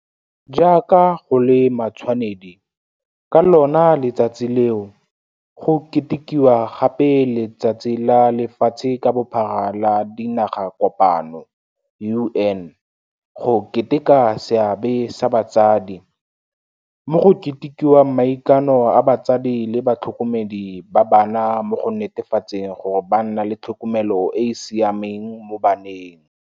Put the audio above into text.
Jaaka go le matshwanedi, ka lona letsatsi leo, go ketekiwagape le Letsatsi la Lefatshe ka Bophara la Dinaga kopano, UN, go Keteka Seabe sa Batsadi, mo go ketekiwang maikano a batsadi le batlhokomedi ba bana mo go netefatseng gore ba nna le tlhokomelo e e siameng mo baneng.